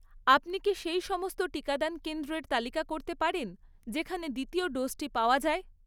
আপনি কি সেই সমস্ত টিকাদান কেন্দ্রের তালিকা করতে পারেন যেখানে দ্বিতীয় ডোজটি পাওয়া যায়?